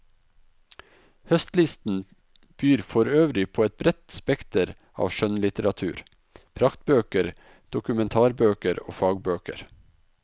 Høstlisten byr forøvrig på et bredt spekter av skjønnlitteratur, praktbøker, dokumentarbøker og fagbøker.